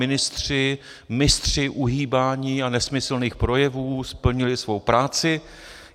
Ministři, mistři uhýbání a nesmyslných projevů, splnili svou práci.